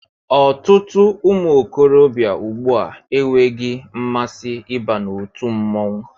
Ọtụtụ ụmụ okorobịa ùgbúà enweghị mmasị ịba n'otu mmọnwụ